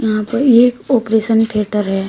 यहां पर एक ऑपरेशन थिएटर है।